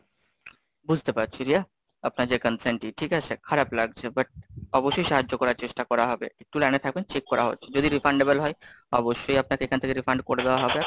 বুঝতে পারছি রিয়া, আপনার যে Consent ই ঠিক আছে, খারাপ লাগছে। butt অবশ্যই সাহায্য করার চেষ্টা করা হবে, একটু লাইনে থাকবেন, চেক করা হচ্ছে। যদি Refundable হয় অবশ্যই আপনাকে এখান থেকে Refund করে দেওয়া হবে।